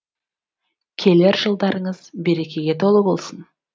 келер жылдарыңыз берекеге толы болсын